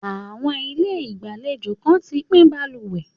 Àwọn ilé ìgbàlejò kan ti pín balùwẹ̀.